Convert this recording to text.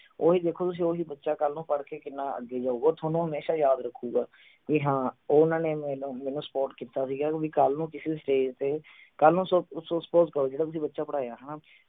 ਉਹ ਦੇਖੋ ਤੁਸੀਂ ਓਹੀ ਬੱਚਾ ਕਲ ਨੂੰ ਪੜ੍ਹ ਕੇ ਕਿੰਨਾ ਅੱਗੇ ਜਾਊਗਾ ਥੋਨੂੰ ਹਮੇਸ਼ਾ ਯਾਦ ਰੱਖੂਗਾ ਵੀ ਹਾਂ ਓਹਨਾ ਨੇ ਮੈਨੂੰ ਮੈਨੂੰ support ਕੀਤਾ ਸੀ ਗਾ ਕਿਓਂਕਿ ਕਲ ਨੂੰ ਕਿਸੇ stage ਤੇ ਕਲ ਨੂੰ ਅਹ suppose ਕਰੋ ਜਿਹੜਾ ਤੁਸੀਂ ਬੱਚਾ ਪੜ੍ਹਾਇਆ ਹਣਾ